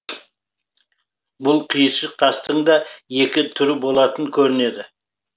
бұл қиыршық тастың да екі түрі болатын көрінеді